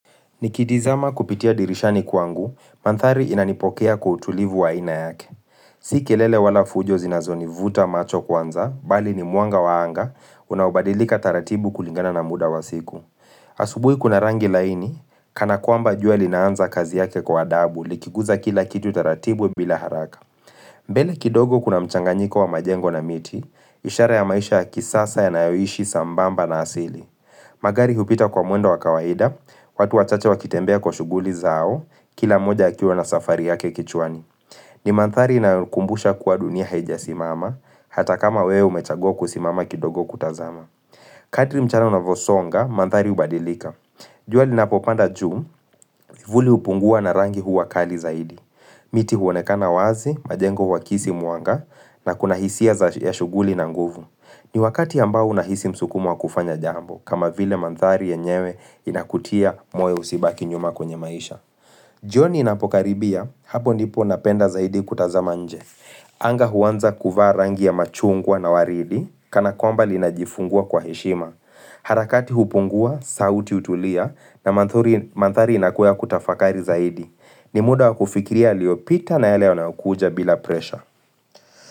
Nikitizama kupitia dirishani kwangu, manthari inanipokea kwa kutulivu wa aina yake. Si kelele wala fujo zinazonivuta macho kwanza, bali ni mwanga wa anga, unaobadilika taratibu kulingana na muda wa siku. Asubui kuna rangi laini, kanakuamba juwa linaanza kazi yake kwa adabu, likikuza kila kitu taratibu bila haraka. Mbele kidogo kuna mchanganyiko wa majengo na miti, ishara ya maisha ya kisasa yanayoishi sambamba na asili. Magari hupita kwa mwendo wa kawaida, watu wachache wakitembea kwa shuguli zao, kila moja ya akiwa na safari yake kichwani. Ni manthari inayo kumbusha kuwa dunia haijasimama, hata kama wewe umechagua kusimama kidogo kutazama. Kadri mchana unavosonga, manthari ubadilika. Jua linapopanda juu, kivuli hupungua na rangi huwa kali zaidi. Miti huonekana wazi, majengo uwakisi mwanga, na kuna hisia ya shuguli na nguvu. Ni wakati ambao unahisi msukumo wa kufanya jambo, kama vile manthari yenyewe inakutia moyo usibaki nyuma kwenye maisha. Jioni inapokaribia, hapo ndipo napenda zaidi kutazama nje. Anga huanza kuvaa rangi ya machungwa na waridi, kanakwamba linajifungua kwa heshima. Harakati hupungua, sauti utulia, na manthari inakuwa ya kutafakari zaidi. Ni muda wa kufikiria yaliyopita na yale yanayokuja bila presha.